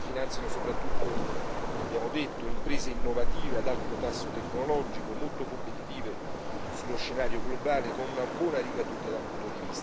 come abbiamo detto, imprese innovative ad alto tasso tecnologico, molto competitive sullo scenario globale, con una buona ricaduta dal punto di vista occupazionale.